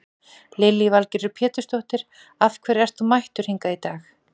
Lillý Valgerður Pétursdóttir: Af hverju ert þú mættur hingað í dag?